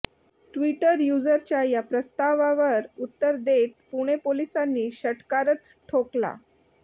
Twitter यूझरच्या या प्रस्तावावर उत्तर देत पुणे पोलिसांनी षटकारच ठोकला